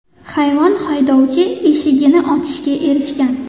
Hayvon haydovchi eshigini ochishga erishgan.